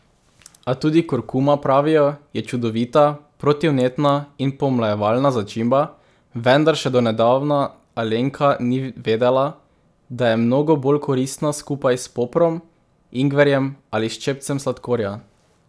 A tudi kurkuma, pravijo, je čudovita, protivnetna in pomlajevalna začimba, vendar še do nedavna Alenka ni vedela, da je mnogo bolj koristna skupaj s poprom, ingverjem ali ščepcem sladkorja.